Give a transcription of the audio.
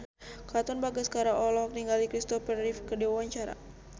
Katon Bagaskara olohok ningali Christopher Reeve keur diwawancara